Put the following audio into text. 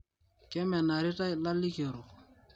Kemanarita lalikorok